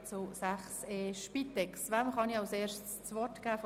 Wem darf ich zuerst seitens der Fraktionen das Wort erteilen?